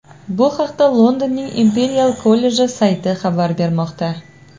Bu haqda Londonning Imperial kolleji sayti xabar bermoqda .